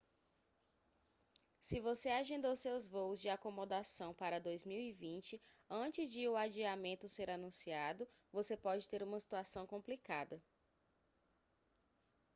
se você agendou seus voos e acomodação para 2020 antes de o adiamento ser anunciado você pode ter uma situação complicada